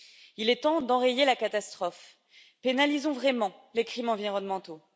Il est temps d'enrayer la catastrophe pénalisons vraiment les crimes environnementaux.